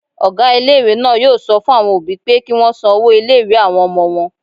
Ọgá ilé-ìwé náà yóò sọ fún àwọn òbí pé kí wọ́n san owó ilé-ìwé àwọn ọmọ wọn